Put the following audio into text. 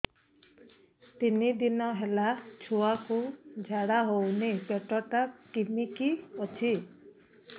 ତିନି ଦିନ ହେଲା ଛୁଆକୁ ଝାଡ଼ା ହଉନି ପେଟ ଟା କିମି କି ଅଛି